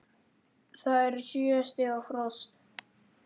Það er sjö stiga frost!